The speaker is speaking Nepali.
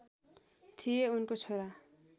थिए उनको छोरा